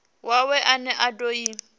wawe ane a do i